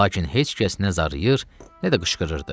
Lakin heç kəs nə zarıyır, nə də qışqırırdı.